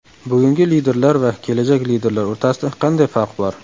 Bugungi liderlar va kelajak liderlar o‘rtasida qanday farq bor?